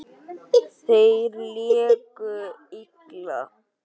Þeir léku illa.